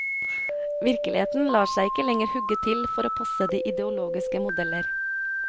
Virkeligheten lar seg ikke lenger hugge til for å passe de ideologiske modeller.